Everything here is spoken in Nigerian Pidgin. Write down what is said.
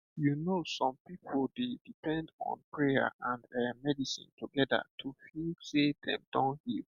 you know some people dey depend on prayer and eh medicine together to feel sey dem don heal